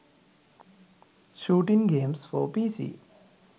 shooting games for pc